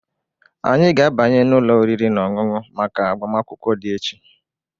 Anyị ga-abanye n'ụlọ oriri na ọṅụṅụ maka agbamakwụkwọ di echi.